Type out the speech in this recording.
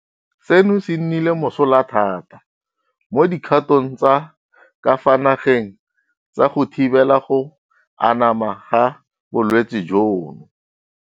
Seno se nnile mosola thata mo dikgatong tsa ka fa nageng tsa go thibela go anama ga bolwetse jono.